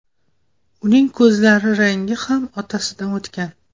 Uning ko‘zlari rangi ham otasidan o‘tgan.